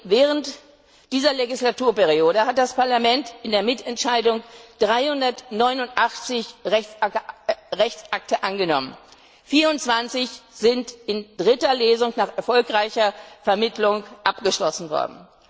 Während dieser Legislaturperiode hat das Parlament in der Mitentscheidung 389 Rechtsakte angenommen, 24 sind in dritter Lesung nach erfolgreicher Vermittlung abgeschlossen worden.